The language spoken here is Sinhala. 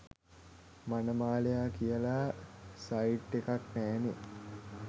මනමාලයා කියලා සයිට් එකක් නෑනේ.